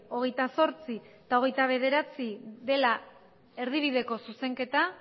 hogeita zortzi eta hogeita bederatzi dela erdibideko zuzenketa